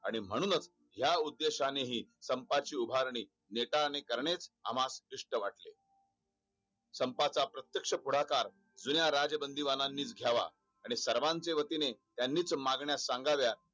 आणि म्ह्णूनच या उद्देशानेनी संपाची उभारणी नेतानी करणे आम्हास सिक्ष्ट वाटले संपाचा प्रत्येक्ष पुढाकार जुन्या राजबंदीबाणानी च घावा आणि सर्वीचे वतीने त्यानीच मागण्या सांगाव्या